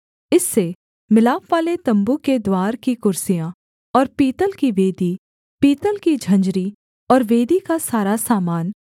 इससे मिलापवाले तम्बू के द्वार की कुर्सियाँ और पीतल की वेदी पीतल की झंझरी और वेदी का सारा सामान